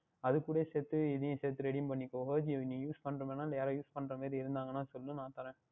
அதற்கூடயே சேர்த்து இதையும் சேர்த்து Redim பண்ணிக்கொள்ளுங்கள் Ajio நீங்கள் பண்ணுகின்றமாறி என்றால் இல்லை வேறுயாராவுது பண்ணுவது மாறி இருந்தாலும் சொல்லுங்கள் நான் தருகின்றேன்